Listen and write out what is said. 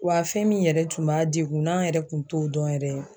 Wa fɛn min yɛrɛ tun b'a degun n'an yɛrɛ tun t'o dɔn yɛrɛ